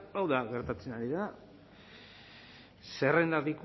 hau da gertatzen ari dena zerrendak